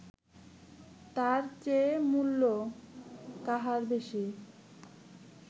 তার চেয়ে মূল্য কাহার বেশী